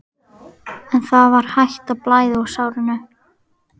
En það var hætt að blæða úr sárinu.